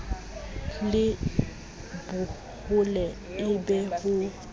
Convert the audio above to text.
le bohole e be ho